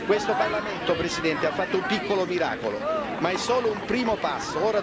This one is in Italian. Questo Parlamento, Presidente, ha fatto un piccolo miracolo, ma è solo un primo passo.